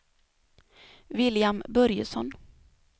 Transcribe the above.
William Börjesson